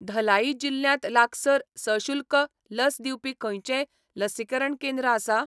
धलाई जिल्ल्यांत लागसार सशुल्क लस दिवपी खंयचेंय लसीकरण केंद्र आसा?